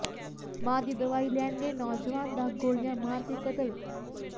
ਮਾਂ ਦੀ ਦਵਾਈ ਲੈਣ ਗਏ ਨੌਜਵਾਨ ਦਾ ਗੋਲੀਆਂ ਮਾਰ ਕੇ ਕਤਲ